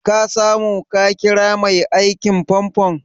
Ka samu ka ƙira mai aikin famfon?